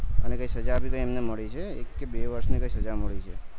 અને કઈ સજા ભી એમને મળી છે કે ક બે વર્ષ ની તે સજા મળી છે